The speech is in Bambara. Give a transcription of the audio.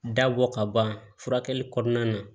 Dabɔ ka ban furakɛli kɔnɔna na